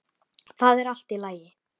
Það er allt í lagi